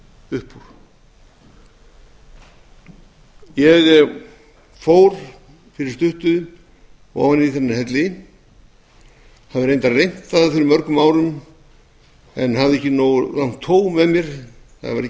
upp úr ég fór fyrir stuttu ofan í þennan helli hafði reyndar reynt það fyrir mörgum árum en hafði ekki nógu langt tóg með mér það var ekki fyrirhyggjunni